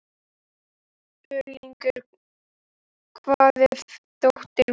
Örlygur, hvar er dótið mitt?